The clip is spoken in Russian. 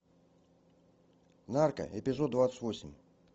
нарко эпизод двадцать восемь